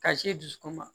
Ka se dusukun ma